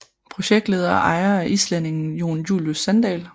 Projektleder og ejer er islændingen Jon Julius Sandal